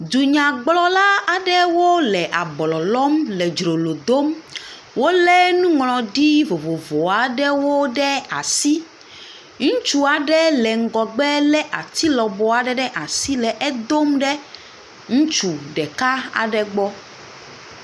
Dunyagblɔla aɖewo le ablɔ lɔm le dzrolo dom. Wolé nuŋlɔɖi vovovo aɖewo ɖe asi. Ŋutsu aɖe le ŋgɔgbe lé ati lɔbɔ aɖe ɖe asi le edom ɖe ŋutsu ɖeka aɖe gbɔ.